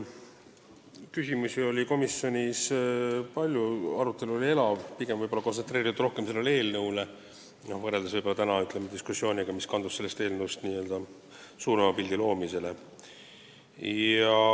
Küsimusi oli komisjonis palju, arutelu oli elav, see oli võib-olla rohkem kontsentreeritud sellele eelnõule, võrreldes tänase diskussiooniga, mis kaldus n-ö suurema pildi loomisele.